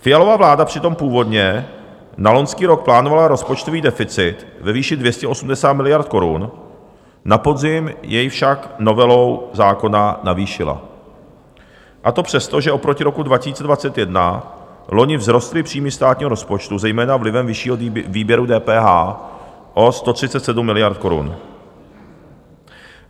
Fialova vláda přitom původně na loňský rok plánovala rozpočtový deficit ve výši 280 miliard korun, na podzim jej však novelou zákona navýšila, a to přes to, že oproti roku 2021 loni vzrostly příjmy státního rozpočtu zejména vlivem vyššího výběru DPH o 137 miliard korun.